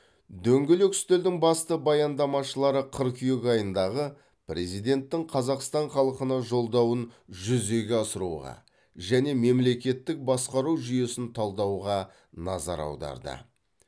дөңгелек үстелдің басты баяндамашылары қыркүйек айындағы президенттің қазақстан халқына жолдауын жүзеге асыруға және мемлекеттік басқару жүйесін талдауға назар аударды